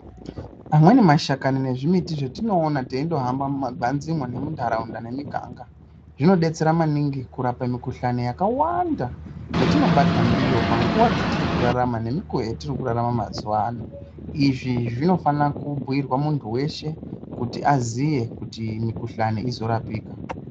Amweni mashakani nezvimiti zvetinowona teindohamba mumagwanzimwo nemwundaraunda nemiganga zvinobetsera maningi kurapa mukuhlani yakawanda yetinobatwa ndiyo panguwa dzatiri kurarama nekukuwo yatiri kurarama mazuva ano , izvi zvinofana kubhuirwa muntu weshe kuti aziye kuti mikuhlani inorapika.